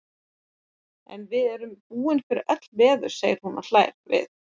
En við erum búin fyrir öll veður, segir hún og hlær við.